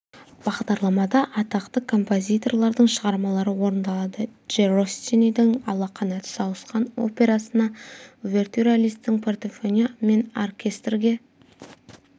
бағдарламада атақты композиторлардың шығармалары орындалады дж россинидің ала қанат сауысқан операсына увертюра листтің фортепиано мен оркестрге